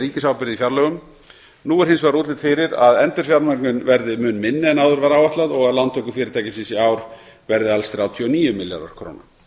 ríkisábyrgð í fjárlögum nú er hins vegar útlit fyrir að endurfjármögnun verði mun minni en áður var áætlað og að lántökur fyrirtækisins í ár verði alls þrjátíu og níu milljarðar króna